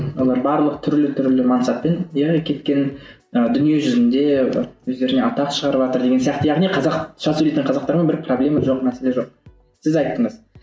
олар барлық түрлі түрлі мансаппен яғни кеткен і дүние жүзінде өздеріне атақ шығарыватыр деген сияқты яғни қазақша сөйлейтін қазақтармен бір проблема жоқ мәселе жоқ сіз айттыңыз